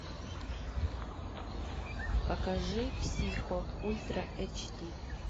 покажи психо ультра эйч ди